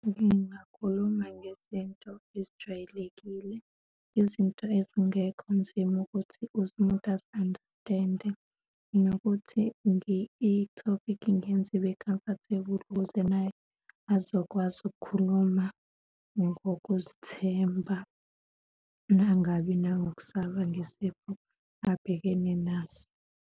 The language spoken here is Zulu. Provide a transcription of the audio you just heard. Ngingakhuluma ngezinto ezijwayelekile, izinto ezingekho nzima ukuthi uze umuntu azi-understand-e, nokuthi ithophikhi ngiyenze ibe comfortable ukuze naye azokwazi ukukhuluma ngokuzithemba, uma ngabe enangokusaba ngesiqephu abhekene naso.